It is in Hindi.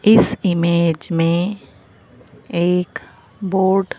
इस इमेज में एक बोर्ड --